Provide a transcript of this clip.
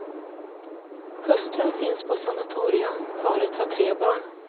Hustrun finns på sanatorium, paret har tre barn.